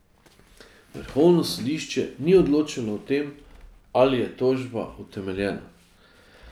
Vrhovno sodišče ni odločalo o tem, ali je tožba utemeljena.